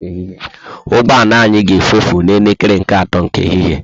Ụgbọala anya ga efutu na elekere nke ato nke ehihie